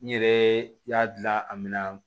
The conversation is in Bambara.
N yɛrɛ y'a dilan a min na